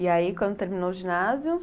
E aí, quando terminou o ginásio?